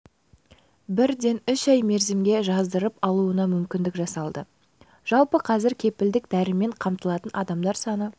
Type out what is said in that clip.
бірден үш ай мерзімге жаздырып алуына мүмкіндік жасалды жалпы қазір кепілді дәрімен қамтылатын адамдар саны